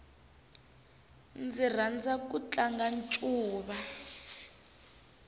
ndzi rhandza ku tlanga ncuva